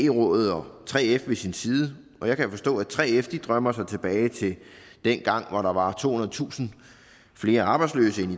rådet og 3f ved sin side jeg kan forstå at 3f drømmer sig tilbage til dengang hvor der var tohundredetusind flere arbejdsløse end